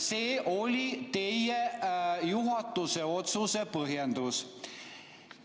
See oli teie juhatuse otsuse põhjendus.